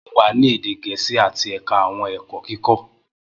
Mo wa ni ede Gẹẹsi ati ẹka awọn ẹkọ iwe-kikọ.